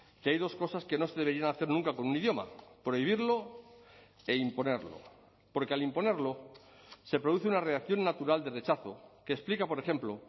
que hay dos cosas que no se deberían hacer nunca con un idioma prohibirlo e imponerlo porque al imponerlo se produce una reacción natural de rechazo que explica por ejemplo